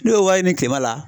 N'o ye wari ɲini kilema la